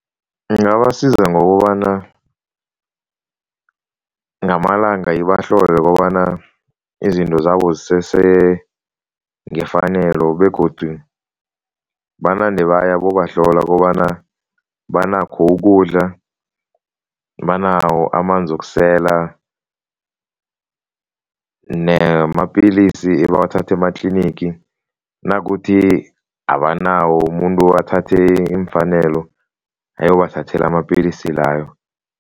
Ingabasiza ngokobana ngamalanga ibahlole kobana izinto zabo zisese ngefanelo begodu banande baya bobahlola kobana banakho ukudla, banawo amanzi wokusela namapilisi ebawathatha ematlinigi, nakuthi abanawo, umuntu athathe iimfanelo ayobathathela amapilisi layo.